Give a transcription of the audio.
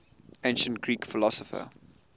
ancient greek philosopher